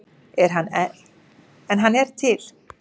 En hann er til.